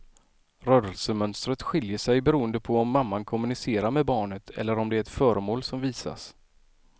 Rörelsemönstret skiljer sig beroende på om mamman kommunicerar med barnet eller om det är ett föremål som visas.